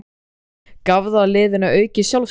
Gaf það liðinu aukið sjálfstraust?